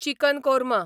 chicken korma